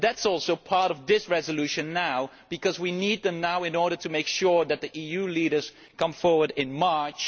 That is also part of this resolution now, because we need the targets now in order to make sure the EU leaders come forward in March.